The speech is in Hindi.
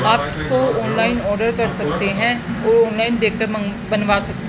आप इसको ऑनलाइन ऑर्डर कर सकते हैं और ऑनलाइन देख कर बनवा सकते --